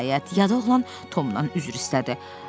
Nəhayət, yad oğlan Tomdan üzr istədi.